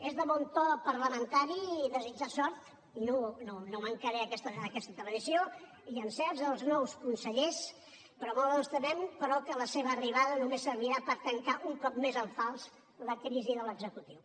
és de bon to parlamentari desitjar sort i no mancaré a aquesta tradició i encerts als nous consellers però molt ens temem que la seva arribada només servirà per tancar un cop més en fals la crisi de l’executiu